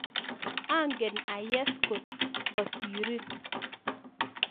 Angen ayes kot kasirin